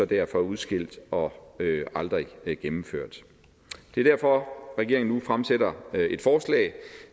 derfor udskilt og aldrig gennemført det er derfor regeringen nu fremsætter et forslag